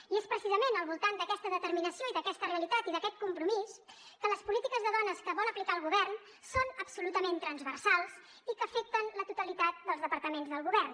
i és precisament al voltant d’aquesta determinació i d’aquesta realitat i d’aquest compromís que les polítiques de dones que vol aplicar el govern són absolutament transversals i que afecten la totalitat dels departaments del govern